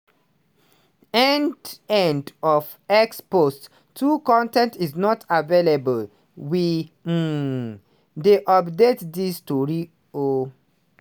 end end of x post 2 con ten t is not available we um dey update dis tori um